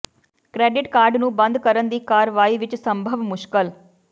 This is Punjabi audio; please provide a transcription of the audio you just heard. ਕ੍ਰੈਡਿਟ ਕਾਰਡ ਨੂੰ ਬੰਦ ਕਰਨ ਦੀ ਕਾਰਵਾਈ ਵਿੱਚ ਸੰਭਵ ਮੁਸ਼ਕਲ